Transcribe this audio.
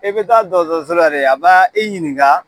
I bɛ taa dɔgɔtɔrɔso la, a ba i ɲininka